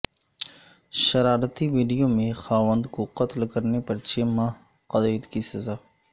شرارتی video میں خاوند کو قتل کرنے پر چھ ماہ قید کی سزا